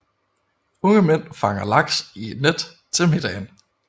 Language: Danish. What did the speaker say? Unge mænd fanger laks i net til middagen